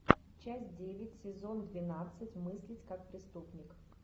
часть девять сезон двенадцать мыслить как преступник